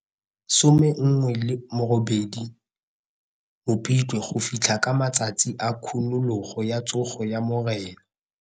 18 Mopitlwe go fitlha ka matsatsi a khunologo ya Tsogo ya Morena.